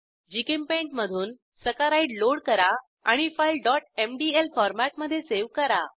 GChemPaint मधून saccharide load करा आणि फाईल mdl फॉरमॅटमधे सावे करा